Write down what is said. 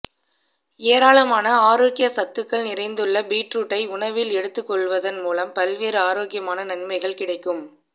ஏராளமான ஆரோக்கிய சத்துக்கள் நிறைந்துள்ள பீட்ரூட்டை உணவில் எடுத்துக்கொள்வதன் மூலம் பல்வேறு ஆரோக்கிய நன்மைகள் கிடைக்கும்